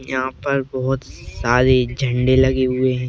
यहाँ पर बहोत सारे झण्डे लगे हुए हैं।